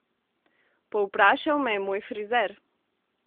Povprašal me je moj frizer.